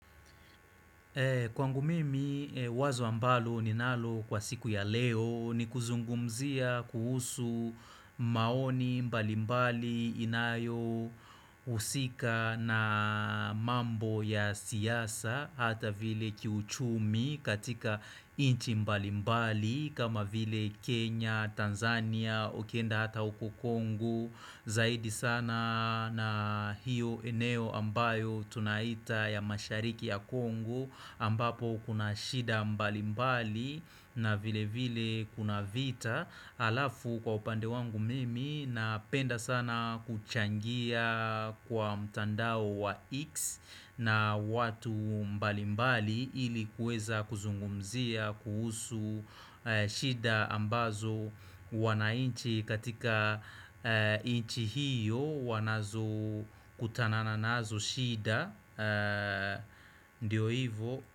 Kwangu mimi wazo ambalo ninalo kwa siku ya leo ni kuzungumzia kuhusu maoni mbali mbali inayo husika na mambo ya siasa hata vile kiuchumi katika nchi mbali mbali kama vile Kenya, Tanzania, ukienda hata uko Kongo zaidi sana na hiyo eneo ambayo tunaita ya mashariki ya Kongo ambapo kuna shida mbali mbali na vile vile kuna vita alafu kwa upande wangu mimi napenda sana kuchangia kwa mtandao wa X na watu mbali mbali ili kuweza kuzungumzia kuhusu shida ambazo wanainchi katika nchi hiyo wanazo kutanana nazo shida Ndiyo hivo.